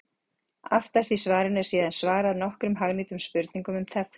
Aftast í svarinu er síðan svarað nokkrum hagnýtum spurningum um teflon.